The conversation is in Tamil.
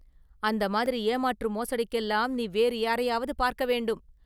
“அந்த மாதிரி ஏமாற்று மோசடிக்கெல்லாம் நீ வேறு யாரையாவது பார்க்க வேண்டும்.